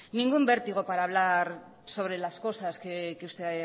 ningún vértigo para hablar sobre las cosas que usted